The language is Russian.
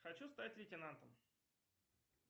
хочу стать лейтенантом